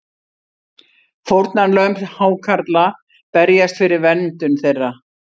Fórnarlömb hákarla berjast fyrir verndun þeirra